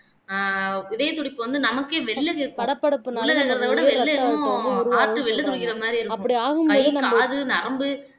ஆஹ் இதயத்துடிப்பு வந்து நமக்கே வெளிய கேட்கும் உள்ள இருக்கறதைவிட வெளில என்னமோ heart வெளிய துடிக்கிற மாதிரி இருக்கும் கை காலு நரம்பு